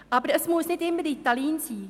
Aber es muss nicht immer Ritalin sein.